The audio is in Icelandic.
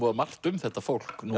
margt um þetta fólk nú